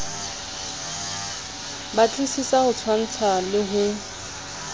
batlisisa ho tshwantsha le ho